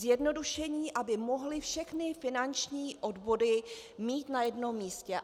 Zjednodušení, aby mohli všechny finanční odvody mít na jednom místě.